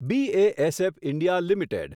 BASF India limited